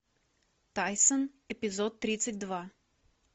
тайсон эпизод тридцать два